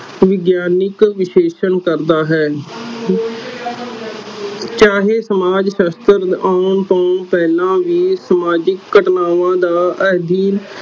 ਵਿਗਿਆਨਿਕ ਵਿਸ਼ੇਸ਼ਣ ਕਰਦਾ ਹੈ ਚਾਹੇ ਸਮਾਜ ਸਾਸਤ੍ਰ ਆਉਣ ਤੋਂ ਪਹਿਲਾ ਵੀ ਸਮਾਜਿਕ ਘਟਨਾਵਾਂ ਦਾ ਅਧੀਨ ਕਰਦਾ ਹੈ।